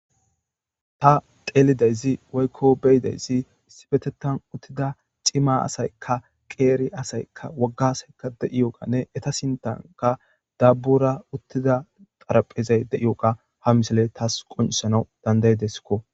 Ha xeellizayssan woyiko betizayisi isipetethan utida cima asayika qeri asayika wogga asayika xaraphe beyogane etta sinitani ba sinththan dabora diyewu xaripheza ha misileyi qoncisesijo